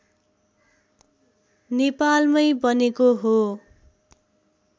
नेपालमै बनेको हो